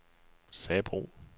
Sabro